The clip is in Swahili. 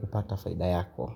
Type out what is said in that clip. kupata faida yako.